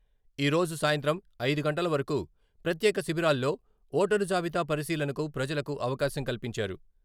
ఈ రోజు సాయంత్రం ఐదు గంటల వరకు ప్రత్యేక శిబిరాల్లో ఓటరు జాబితా పరిశీలనకు ప్రజలకు అవకాశం కల్పించారు.